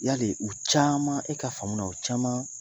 Yali u caman, e ka faamu na u caman